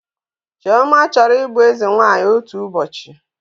Chioma chọrọ ịbụ eze nwanyị otu ụbọchị